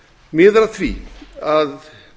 miðar að því að